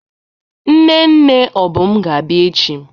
Nne nne Obum ga-abia echi.